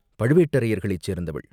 பழுவேட்டரையர்களைச் சேர்ந்தவள்.